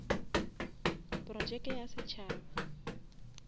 projeke ya setšhaba